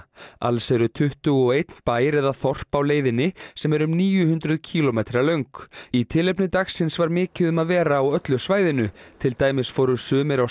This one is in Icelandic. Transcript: alls er tuttugu og einn bær eða þorp á leiðinni sem er um níu hundruð kílómetra löng í tilefni dagsins var mikið um að vera á öllu svæðinu til dæmis fóru sumir á